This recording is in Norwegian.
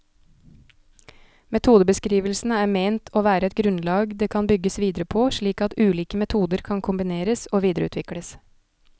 Metodebeskrivelsene er ment å være et grunnlag det kan bygges videre på, slik at ulike metoder kan kombineres og videreutvikles.